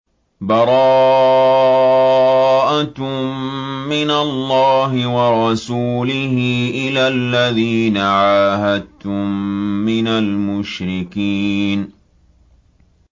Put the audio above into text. بَرَاءَةٌ مِّنَ اللَّهِ وَرَسُولِهِ إِلَى الَّذِينَ عَاهَدتُّم مِّنَ الْمُشْرِكِينَ